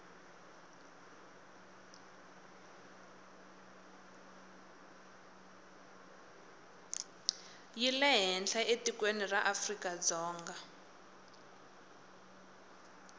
yi lehenhla etikweni ra afrikadzonga